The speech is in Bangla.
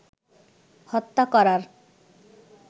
হত্যা করার